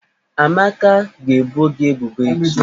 Amaka ga-ebo gi ebubo echi.